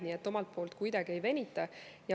Nii et omalt poolt me kuidagi ei venita.